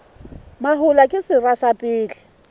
mahola ke sera sa pele